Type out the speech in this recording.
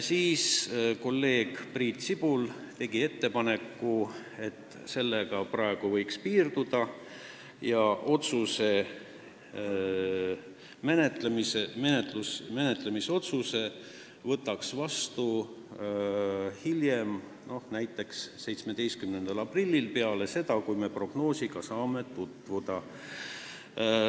Kolleeg Priit Sibul tegi ettepaneku, et sellega võiks piirduda ja menetlemise otsuse võiks võtta vastu hiljem, näiteks 17. aprillil, kui me oleme saanud prognoosiga tutvuda.